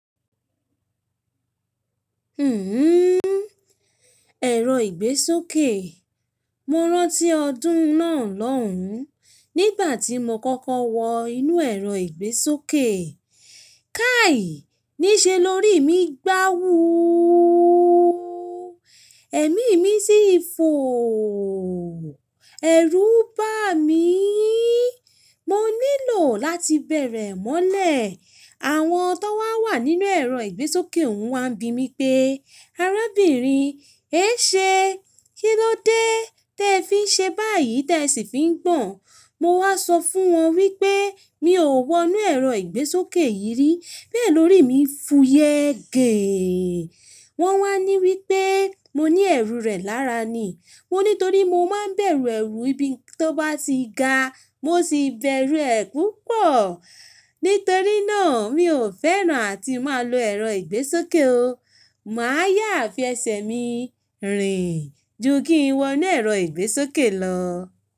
Hmm, ẹ̀rọ ìgbésókè. Mo rántí ọdún náà lọ́hùn, nígbà tí mo kọ́kọ́ wọ inú ẹ̀rọ ìgbésókè. Kàí! Ní ṣe lórí mi gbà wóóó. Ẹ̀mí mi sì ń fòóò. Ẹ̀rù bá mííí. Mo nílò láti bẹ̀rẹ̀ mọ́lẹ̀. Àwọn tó wá wà nínú ẹ̀rọ ìgbésókè un wá ń bi mí pé, "arábìnrin, e ṣé, kílódé tí ẹ fi ń ṣe báyìí tí ẹ sì fi ń gbọ̀n?" Mo wá sọ fún wọn wípé mi ò wọ inú ẹ̀rọ ìgbésókè yìí ri. Bẹ́ẹ̀ lórí mi ń fuyẹ́ geee. Wọn wá ní wípé mo ní ẹ̀rù rẹ̀ lára ni. Mo ní torí mo máa ń bẹ̀rù ẹrù ibi tó bá ti ga. Mo sì bẹ̀rù ẹ̀ púpọ̀. Nítorí náà, mi ò fẹ́ràn àti máa lo ẹ̀rọ ìgbésókè o. Mà á yáa fi ẹsẹ̀ mi rìn ju kí n wọ inú ẹ̀rọ ìgbésókè lọ.